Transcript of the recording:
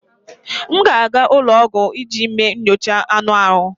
M ga-aga ụlọ ọgwụ iji mee nyocha anụ ahụ